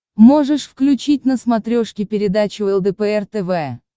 можешь включить на смотрешке передачу лдпр тв